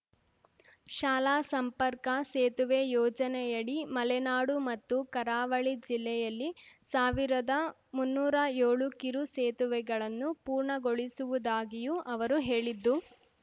ಶಾಲಾ ಸಂಪರ್ಕ ಸೇತುವೆ ಯೋಜನೆಯಡಿ ಮಲೆನಾಡು ಮತ್ತು ಕರಾವಳಿ ಜಿಲ್ಲೆಯಲ್ಲಿ ಸಾವಿರ್ದ ಮುನ್ನೂರ ಯೋಳು ಕಿರು ಸೇತುವೆಗಳನ್ನು ಪೂರ್ಣಗೊಳಿಸುವುದಾಗಿಯೂ ಅವರು ಹೇಳಿದ್ದು